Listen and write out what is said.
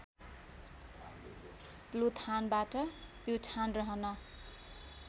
प्लुथानबाट प्युठान रहन